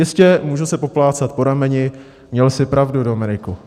Jistě, můžu se poplácat po rameni: Měl jsi pravdu, Dominiku.